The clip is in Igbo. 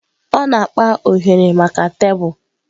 Ọ na-akpa oghere maka tebụl.